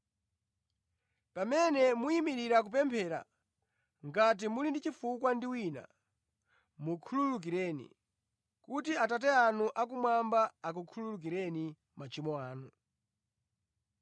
Pamene muyimirira kupemphera, ngati muli ndi chifukwa ndi wina, mukhululukireni, kuti Atate anu akumwamba akukhululukireni machimo anu.”